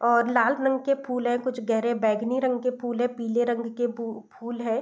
और लाल रंग के फूल हैं कुछ गहरे बैगनी रंग के फूल हैं पीले रंग के फू फूल हैं।